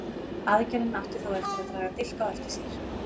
Aðgerðin átti þó eftir að draga dilk á eftir sér.